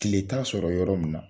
Tile t'a sɔrɔ yɔrɔ min na